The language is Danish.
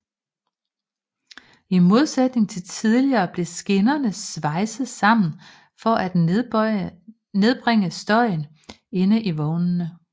I modsætning til tidligere blev skinnerne svejset sammen for at nedbringe støjen inde i vognene